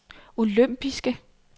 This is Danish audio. olympiske